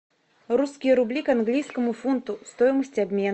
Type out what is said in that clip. русские рубли к английскому фунту стоимость обмена